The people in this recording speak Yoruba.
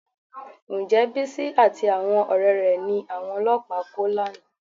Ǹjẹ́ Bísí àti àwọn ọ̀rẹ́ rẹ̀ ni àwọn ọlọ́pàá kó lánàá?